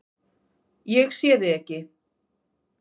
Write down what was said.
Ég sé þig ekki.